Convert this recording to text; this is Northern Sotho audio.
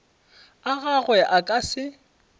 a gagwe a ka se